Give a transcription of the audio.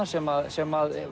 sem sem